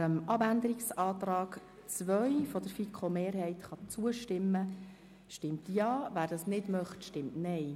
Wer dem Abänderungsantrag 2 der FiKo-Mehrheit zustimmt, stimmt Ja, wer diesen ablehnt, stimmt Nein.